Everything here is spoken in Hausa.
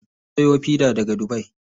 Suna siyo fida daga dubai.